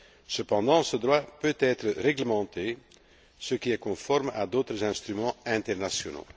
Cependant, ce droit peut être réglementé, ce qui est conforme à d'autres instruments internationaux.